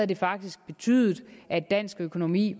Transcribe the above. det faktisk betydet at dansk økonomi